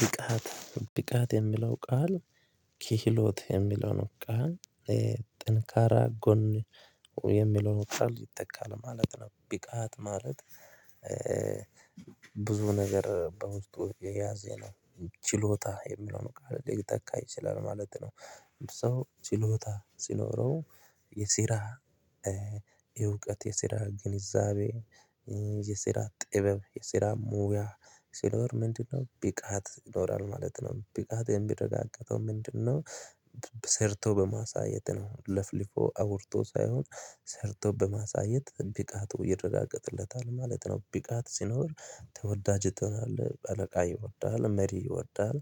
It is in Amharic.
ብቃት ብቃት የሚለው ቃል ክህሎት የሚለው ነው ቃል ጥንካራ ጎን የሚለውን ቃል ይተካል ማለት ነው ብቃት ማለት ብዙ ነገር በውስጡ የያዘ ነው ችሎታ የሚለው ቃል ሊተካ ይችላል ማለት ነው ሰው ችሎታ ሲኖረው የስራ የእውቀት የሲራ ግንዛቤ የስራ ጥበብ የስራ ሙያ ሲኖር ምንድነው ብቃት ይኖራል ማለት ነው ብቃት የሚረጋገጠው ምንድነው ሰርቶ በማሳየት ነው ለፍልፎ አውርቶ ሳይሆን ሰርቶ በማሳየት ብቃቱ ይረጋገጥለታል ማለት ነው። ብቃት ሲኖር ተወዳጅ ትሆናለህ አለቃ ይወዳል መሪ ይወዳል